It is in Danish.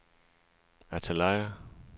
Antalya